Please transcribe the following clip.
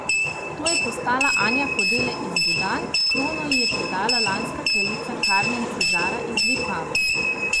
To je postala Anja Kodele iz Budanj, krono ji je predala lanska kraljica Karmen Cizara iz Vipave.